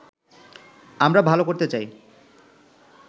আমরা ভালো করতে চাই